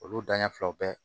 Olu danɲɛ filaw bɛɛ